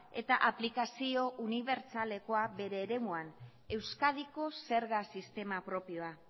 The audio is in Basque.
eta aplikazio unibertsalekoa bere eremuan euskadiko zerga sistema propioa